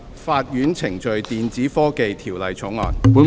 《法院程序條例草案》。